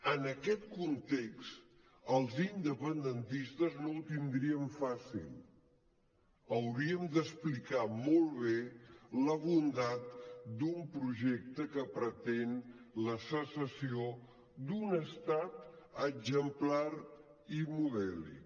en aquest context els independentistes no ho tindríem fàcil hauríem d’explicar molt bé la bondat d’un projecte que pretén la secessió d’un estat exemplar i modèlic